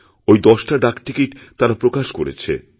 ওই দশটা ডাকটিকিট তারা প্রকাশ করেছে